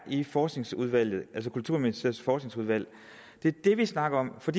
i forskningsudvalget altså kulturministeriets forskningsudvalg det er det vi snakker om for